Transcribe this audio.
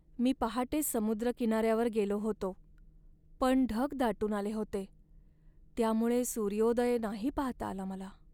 मी पहाटेच समुद्रकिनाऱ्यावर गेलो होतो, पण ढग दाटून आले होते त्यामुळे सूर्योदय नाही पाहता आला मला.